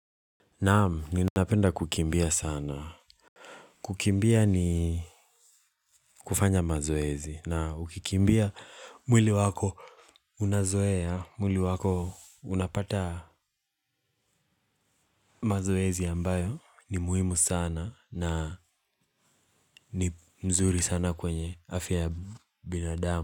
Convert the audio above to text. Naam, ninapenda kukimbia sana. Kukimbia ni kufanya mazoezi. Na ukikimbia mwili wako unazoea, mwili wako unapata mazoezi ambayo ni muhimu sana na ni mzuri sana kwenye afya binadamu.